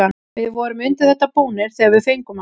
Við vorum undir þetta búnir þegar við fengum hann.